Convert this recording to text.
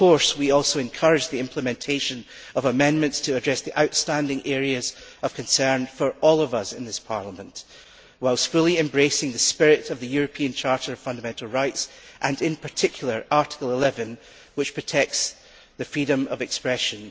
We also encourage the implementation of amendments to address the outstanding areas of concern for all of us in this Parliament, whilst fully embracing the spirit of the European Charter of Fundamental Rights and, in particular, Article 11, which protects the freedom of expression.